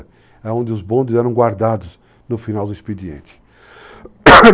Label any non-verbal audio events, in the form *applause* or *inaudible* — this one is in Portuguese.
É onde os bondes eram guardados no final do expediente. *coughs*